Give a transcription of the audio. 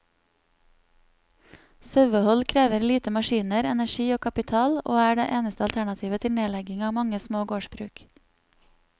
Sauehold krever lite maskiner, energi og kapital, og er det eneste alternativet til nedlegging av mange små gårdsbruk.